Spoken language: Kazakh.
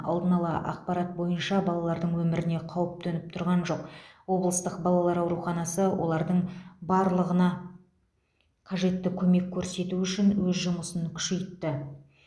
алдын ала ақпарат бойынша балалардың өміріне қауіп төніп тұрған жоқ облыстық балалар ауруханасы олардың барлығына қажетті көмек көрсету үшін өз жұмысын күшейтті